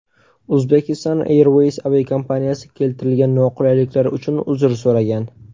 Uzbekistan Airways aviakompaniyasi keltirilgan noqulayliklar uchun uzr so‘ragan.